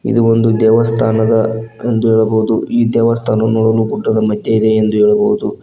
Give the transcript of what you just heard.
ಇದು ಒಂದು ದೇವಸ್ಥಾನದ ಅಂದು ಹೇಳಬಹುದು ಈ ದೇವಸ್ಥಾನವು ನೋಡಲು ಗುಡ್ಡದ ಮಧ್ಯ ಇದೆ ಎಂದು ಹೇಳಬಹುದು.